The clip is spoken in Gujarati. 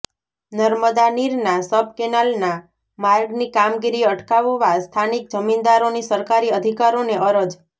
નર્મદા નીરનાં સબ કેનાલનાં માર્ગની કામગીરી અટકાવવા સ્થાનિક જમીનદારોની સરકારી અધિકારોને અરજ